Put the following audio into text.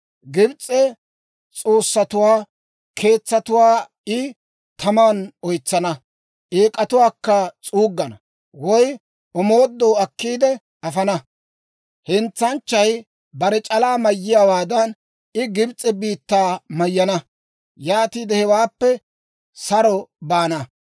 Gibs'e s'oossatuwaa keetsatuwaa I taman oytsana; eek'atuwaakka s'uuggana, woy omoodoo akkiide afana. Hentsanchchay bare c'alaa mayiyaawaadan, I Gibs'e biittaa mayyana. Yaatiide hewaappe saro baana.